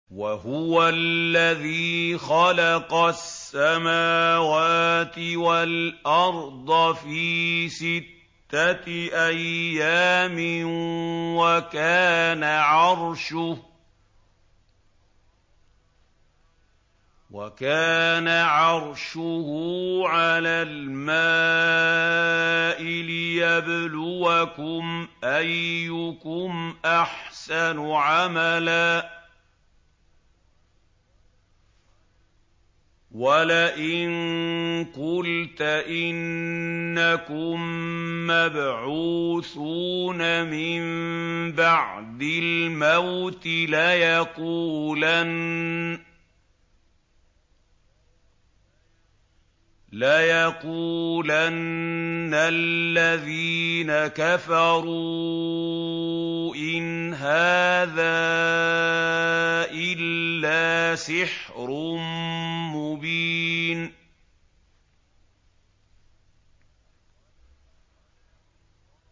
وَهُوَ الَّذِي خَلَقَ السَّمَاوَاتِ وَالْأَرْضَ فِي سِتَّةِ أَيَّامٍ وَكَانَ عَرْشُهُ عَلَى الْمَاءِ لِيَبْلُوَكُمْ أَيُّكُمْ أَحْسَنُ عَمَلًا ۗ وَلَئِن قُلْتَ إِنَّكُم مَّبْعُوثُونَ مِن بَعْدِ الْمَوْتِ لَيَقُولَنَّ الَّذِينَ كَفَرُوا إِنْ هَٰذَا إِلَّا سِحْرٌ مُّبِينٌ